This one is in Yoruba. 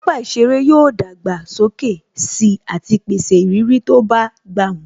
Pápá ìṣeré yóò dàgbà sókè sí àti pèsè ìrírí tó bá gbà mu